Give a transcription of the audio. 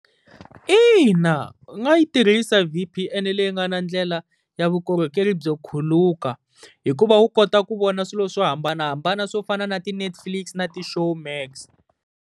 Ina u nga yi tirhisa V_P_N, leyi nga na ndlela ya vukorhokeri byo khuluka. Hikuva wu kota ku vona swilo swo hambanahambana swo fana na ti-Netflix na ti-Showmax.